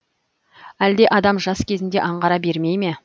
әлде адам жас кезінде аңғара бермейме